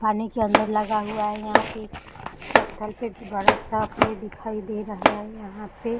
पानी के अंदर लगा हुआ है यहाँ पे पत्थर पे भी बड़ा-सा पेड़ दिखाई दे रहा है यहाँ पे।